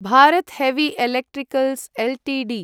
Bharat heavy electricals Ltd